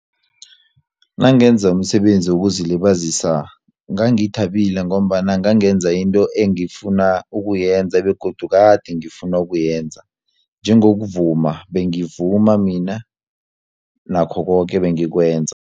Nangenza umsebenzi wokuzilibazisa ngangithabile ngombana ngangenza into engifuna ukuyenza begodu kade ngifuna ukuyenza njengokuvuma bengivuma mina nakho koke bengikwenza.